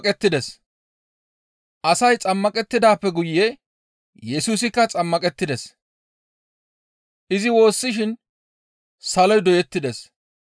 Asay xammaqettidaappe guye Yesusikka xammaqettides; izi woossishin saloy doyettides.